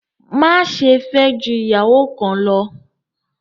Má ṣe fẹ jù ìyàwó kan ló!